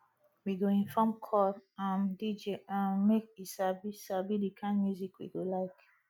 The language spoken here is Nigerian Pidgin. we go inform call um dj um make e sabi sabi the kind music we go like